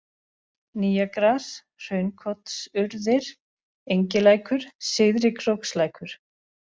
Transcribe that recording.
Nýjagras, Hraunkotsurðir, Engilækur, Syðri-Krókslækur